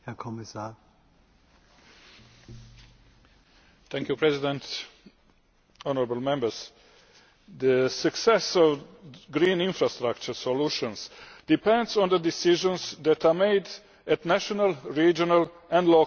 Mr President, honourable Members, the success of green infrastructure solutions depends on the decisions that are made at national, regional and local levels.